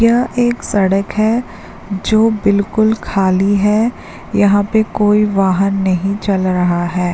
यह एक सड़क है जो बिल्कुल खाली है यहां पर कोई वाहन नहीं चल रहा है।